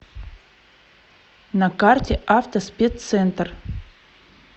на карте автоспеццентр